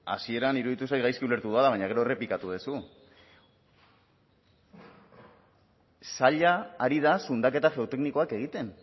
hasieran iruditu zait gaizki ulertu dudala baina gero errepikatu duzu saila ari da zundaketa geoteknikoak egiten